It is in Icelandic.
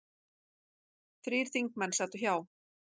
Þrír þingmenn sátu hjá